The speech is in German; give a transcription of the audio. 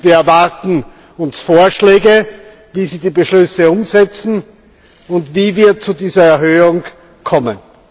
Wir erwarten uns Vorschläge, wie Sie die Beschlüsse umsetzen und wie wir zu diesen Verbesserungen kommen.